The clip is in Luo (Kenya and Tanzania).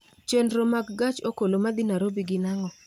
chenro mag gach okolo ma dhi nairobi gin ang'o